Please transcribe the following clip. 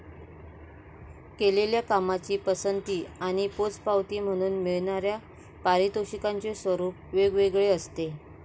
केलेल्या कामाची पसंती आणि पोचपावती म्हणून मिळणाऱ्या पारितोषिकांचे स्वरूप वेगवेगळे असते.